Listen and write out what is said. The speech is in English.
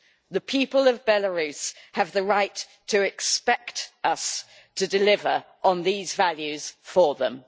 The people of Belarus have the right to expect us to deliver on these values for them.